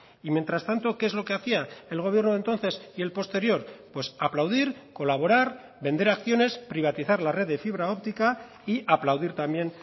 y mientras tanto qué es lo que hacía el gobierno de entonces y el posterior pues aplaudir colaborar vender acciones privatizar la red de fibra óptica y aplaudir también